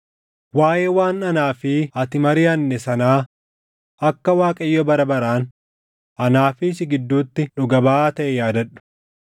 Waaʼee waan anaa fi ati mariʼanne sanaa akka Waaqayyo bara baraan anaa fi si gidduutti dhuga baʼaa taʼe yaadadhu.”